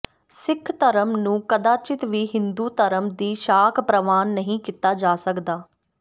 ਸਿੱਖ ਧਰਮ ਨੂੰ ਕਦਾਚਿਤ ਵੀ ਹਿੰਦੂ ਧਰਮ ਦੀ ਸ਼ਾਖ਼ ਪ੍ਰਵਾਨ ਨਹੀਂ ਕੀਤਾ ਜਾ ਸਕਦਾ